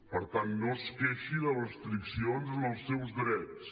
per tant no es queixi de restriccions en els seus drets